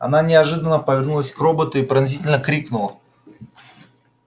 она неожиданно повернулась к роботу и пронзительно крикнула